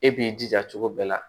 E b'i jija cogo bɛɛ la